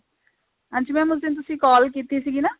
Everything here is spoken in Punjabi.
ਹਾਂਜੀ mam ਉਸ ਦਿਨ ਤੁਸੀਂ call ਕੀਤੀ ਸੀਗੀ ਨਾ